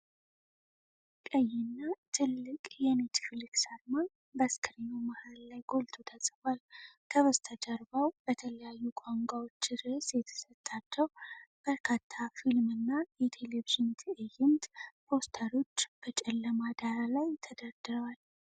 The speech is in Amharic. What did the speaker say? ቀይና ትልቅ የኔትፍሊክስ አርማ በስክሪኑ መሃል ላይ ጎልቶ ተጽፏል። ከበስተጀርባው በተለያዩ ቋንቋዎች ርዕስ የተሰጣቸው በርካታ የፊልም እና የቴሌቪዥን ትዕይንት ፖስተሮች በጨለማ ዳራ ላይ ተደርድረዋል።